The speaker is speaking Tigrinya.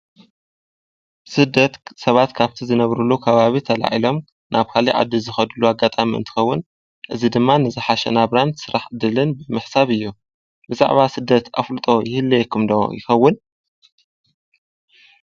ስደት ሰባት ካፍቲ ዝነብርሉ ከባቢ ተላዒሎም ናብ ካልእ ዓዲ ዝኸድሉ ኣጋጣሚ እንትኸውን እዚ ድማ ንዝሓሸ ናብራን ስራሕ ዕድልን ምሕሳብ እዩ። ብዛዕባ ስደት ኣፍልጦ ይህልየኩም ኢዶም ይኸውን?